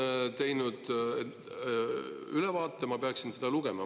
Tema on teinud ülevaate ja ma peaksin seda lugema.